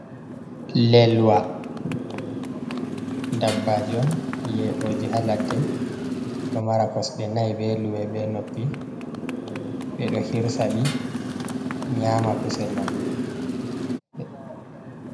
Lelwa: Dabbaji on yedoji ha ladde ɗo mara kosde nai, be luwe, be noppi. Ɓedo hirsaɗi nyama kusel man.